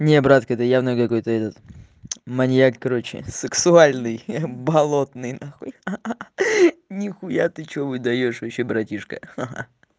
не братки это явно какой-то этот маньяк короче сексуальный болотный нахуй ха-ха нихуя ты что выдаёшь вообще братишка ха-ха